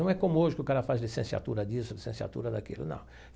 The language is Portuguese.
Não é como hoje que o cara faz licenciatura disso, licenciatura daquilo, não.